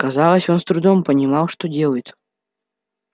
казалось он с трудом понимал что делает